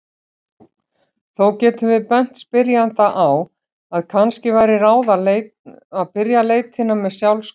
Þó getum við bent spyrjanda á að kannski væri ráð að byrja leitina með sjálfsskoðun.